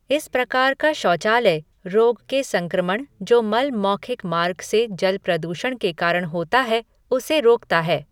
इस प्रकार का शौचालय, रोग के संक्रमण जो मल मौखिक मार्ग से जल प्रदूषण के कारण होता है, उसे रोकता है।